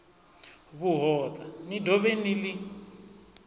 vhuhoṱa ni dovhe ni ḽi